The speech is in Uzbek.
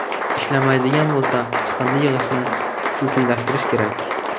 Ishlamaydigan bo‘lsa, chiqindi yig‘ishni xususiylashtirish kerak.